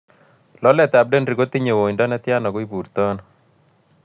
Loletap denri kotinye woindone tyan ago ibuurto ano